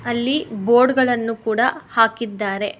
ಅಲ್ಲಿ ಬೋರ್ಡ್ ಗಳನ್ನು ಕೂಡ ಹಾಕಿದ್ದಾರೆ.